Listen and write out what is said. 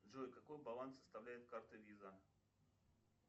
джой какой баланс составляет карта виза